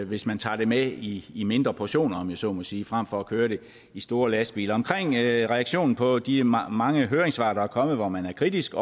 hvis man tager det med i i mindre portioner om jeg så må sige frem for at køre det i store lastbiler om reaktionen på de mange mange høringssvar der er kommet hvor man er kritisk